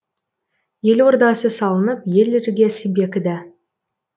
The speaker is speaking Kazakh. ел ордасы салынып ел іргесі бекіді